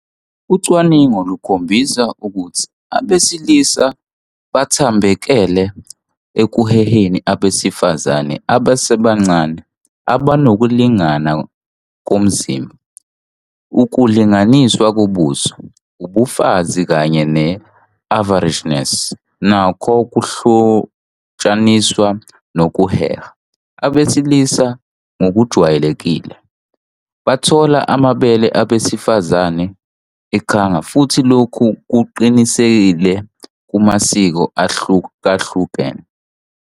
Ucwaningo lukhombisa ukuthi abesilisa bathambekele ekuheheni abesifazane abasebancane abanokulingana komzimba. Ukulinganiswa kobuso, ubufazi, kanye ne-averageness nakho kuhlotshaniswa nokuheha. Abesilisa ngokujwayelekile bathola amabele abesifazane ekhanga futhi lokhu kuqinisile kumasiko ahlukahlukene.